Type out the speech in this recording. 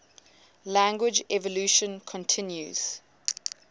language evolution continues